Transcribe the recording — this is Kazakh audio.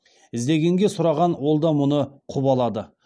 іздегенге сұраған ол да мұны құп алады